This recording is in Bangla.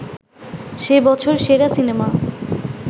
সে বছর সেরা সিনেমা